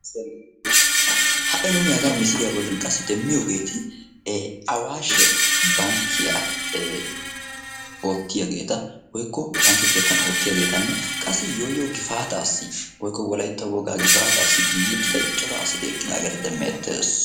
ha"i nuuni hagan misiliyaa bollan qassi demmiyoogeeti awaashe bankkiyaa oottiyaageeta woykko bankke keettan oottiyaageetanne qassi yooyoo gifaataassi woykko wolaitta wogaa gifaataassi giiguutida cora asati eqqidaageeta demmi etteesu.